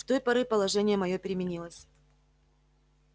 с той поры положение моё переменилось